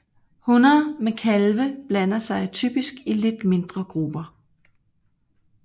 Hunner med kalve blander sig typisk i lidt mindre grupper